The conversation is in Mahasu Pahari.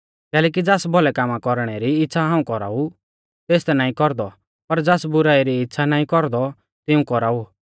कैलैकि ज़ास भौलै कामा कौरणै इच़्छ़ा हाऊं कौराउ तेस ता नाईं कौरदौ पर ज़ास बुराई री इच़्छ़ा नाईं कौरदौ तिऊं कौराउ